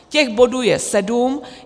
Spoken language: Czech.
Těch bodů je sedm.